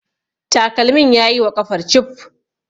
takalmin ya yi wa ƙafar cif